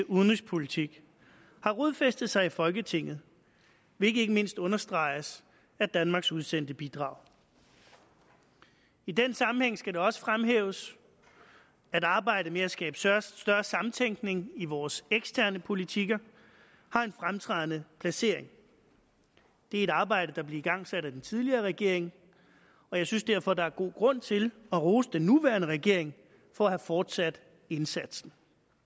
udenrigspolitik har rodfæstet sig i folketinget hvilket ikke mindst understreges af danmarks udsendte bidrag i den sammenhæng skal det også fremhæves at arbejdet med at skabe større større samtænkning i vores eksterne politikker har en fremtrædende placering det er et arbejde der blev igangsat af den tidligere regering og jeg synes derfor at der er god grund til at rose den nuværende regering for at fortsætte indsatsen